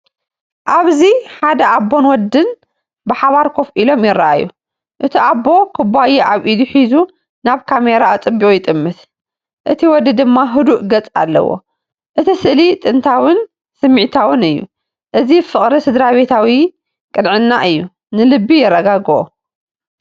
ኣብዚ ሓደ ኣቦን ወድን ብሓባር ኮፍ ኢሎም ይረኣዩ። እቲ ኣቦ ኩባያ ኣብ ኢዱ ሒዙ ናብ ካሜራ ኣጸቢቑ ይጥምት፡ እቲ ወዲ ድማ ህዱእ ገጽ ኣለዎ። እቲ ስእሊ ጥንታዊን ስምዒታዊን እዩ። እዚ ፍቕርን ስድራቤታዊ ቅንዕናን እዩ፤ ንልቢ የረጋግኦ።